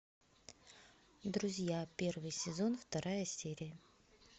друзья первый сезон вторая серия